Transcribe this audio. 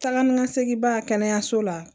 Taa ni ka segin ba kɛnɛyaso la